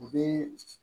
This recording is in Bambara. U bɛ